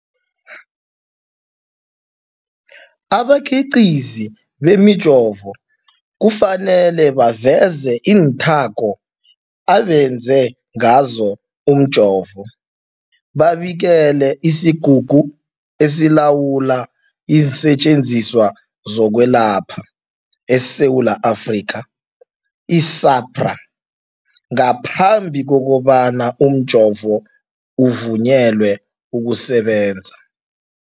Abakhiqizi bemijovo kufanele baveze iinthako abenze ngazo umjovo, babikele isiGungu esiLawula iinSetjenziswa zokweLapha eSewula Afrika, i-SAHPRA, ngaphambi kobana umjovo uvunyelwe ukusebenza.